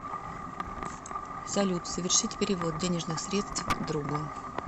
салют совершить перевод денежных средств другу